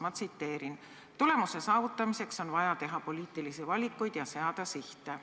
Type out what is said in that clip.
Ma tsiteerin: "Tulemuse saavutamiseks on vaja teha poliitilisi valikuid ja seada sihte.